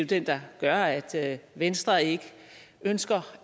den der gør at at venstre ikke ønsker